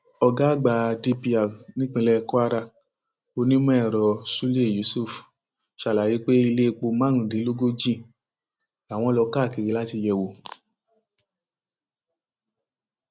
ọgá àgbà dpr nípínlẹ kwara onímọẹrọ ṣúlẹ yusuf ṣàlàyé pé iléèpò márùndínlógójì làwọn lọ káàkiri láti yẹ wò